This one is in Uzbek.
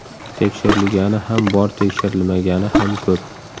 Tekshirilgani ham bor tekshirilmagani ham ko‘p.